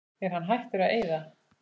Er hann hættur að eyða?